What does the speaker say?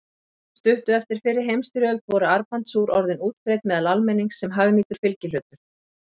Stuttu eftir fyrri heimsstyrjöld voru armbandsúr orðin útbreidd meðal almennings sem hagnýtur fylgihlutur.